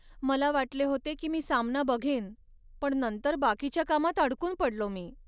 मला वाटले होते की मी सामना बघेन पण नंतर बाकीच्या कामात अडकून पडलो मी.